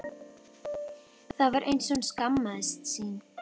Það var eins og hún skammaðist sín.